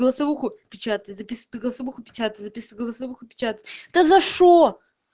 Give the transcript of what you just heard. печатай печатай голосовуха печатать да за что